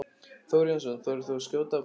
Þór Jónsson: Þorir þú að skjóta á hve margir?